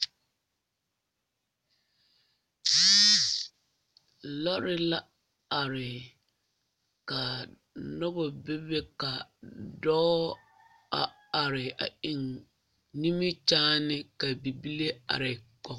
Lɔɔre la are ka noba bebe ka dɔɔ a are eŋ nimikyaane ka bibile are kɔge